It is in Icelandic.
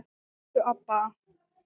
Elsku Obba.